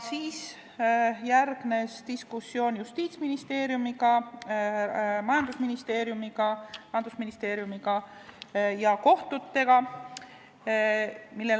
Siis järgnes diskussioon Justiitsministeeriumi, majandusministeeriumi, Rahandusministeeriumi ja kohtutega.